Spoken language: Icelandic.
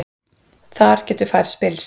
Þar getur færð spillst.